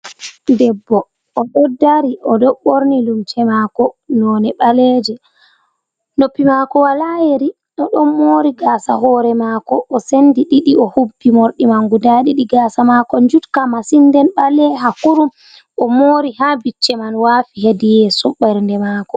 Debbo odo dari, oɗo borni limse mako none ɓaleje, noppi mako wala yeri, o ɗon mori gasa hore mako, o sendi ɗiɗi, o habbi mordi man guda ɗiɗi, gasa mako jutka masin, nden ɓaleha kurum, o mori ha bicce man wafi hedi yeso bernde mako.